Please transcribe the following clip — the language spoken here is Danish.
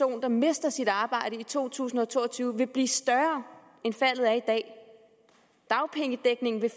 der mister sit arbejde to tusind og to og tyve vil blive større end faldet er i dag dagpengedækningen vil